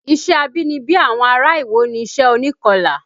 Iṣẹ́ abínibí àwọn ará Iwo ni iṣẹ́ onikọlà